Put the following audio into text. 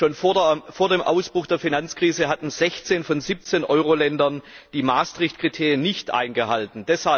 Schon vor dem Ausbruch der Finanzkrise hatten 16 von 17 Euro Ländern die Maastricht Kriterien nicht eingehalten.